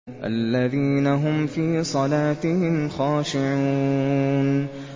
الَّذِينَ هُمْ فِي صَلَاتِهِمْ خَاشِعُونَ